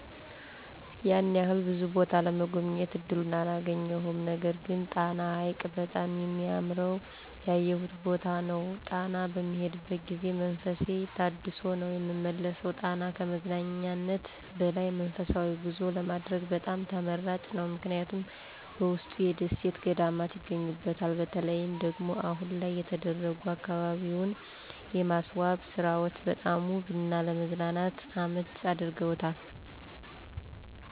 ያን ያህል ብዙ ቦታ ለመጎብኘት እድሉን አላገኘሁም። ነገርግን ጣና ሀይቅ በጣም ሚያምረዉ ያየሁት ቦታ ነዉ። ጣና በምሄድበት ጊዜ መንፈሴ ታድሶ ነዉ ምመለሰው። ጣና ከመዝናኛነት በላይ መንፈሳዊ ጉዞ ለማድረግ በጣም ተመራጭ ነዉ ምክንያቱም በውስጡ የደሴት ገዳማት ይገኙበታል። በተለይም ደግሞ አሁን ላይ የተደረጉ አከባቢውን የማስዋብ ስራዎች በጣም ውብ እና ለመዝናናት አመቺ አድርገውታል።